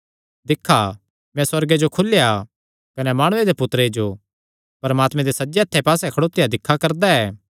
दिक्खा मैं सुअर्गे जो खुलेया कने माणुये दे पुत्तरे जो परमात्मे दे सज्जे हत्थे पास्से खड़ोत्या दिक्खा करदा ऐ